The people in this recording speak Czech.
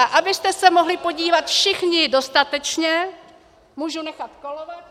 A abyste se mohli podívat všichni dostatečně, můžu nechat kolovat.